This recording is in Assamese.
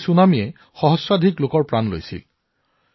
এই ছুনামিত হাজাৰ হাজাৰ লোকে প্ৰাণ হেৰুৱাইছিল